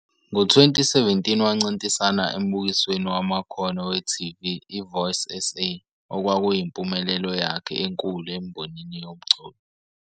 Ngo-2017, wancintisana embukisweni wamakhono we-TV, i-Voice SA, okwakuyimpumelelo yakhe enkulu embonini yomculo.